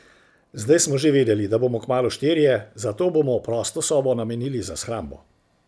Zdaj smo že vedeli, da bomo kmalu štirje, zato bomo prosto sobo namenili za shrambo.